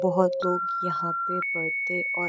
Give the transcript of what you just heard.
बहुत लोग यहाँ पे पड़ते और --